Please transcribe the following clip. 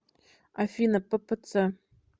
афина ппц